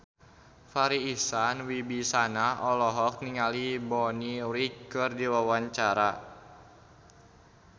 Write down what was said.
Farri Icksan Wibisana olohok ningali Bonnie Wright keur diwawancara